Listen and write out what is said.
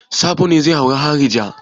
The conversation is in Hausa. Sabo ne zai auri harija.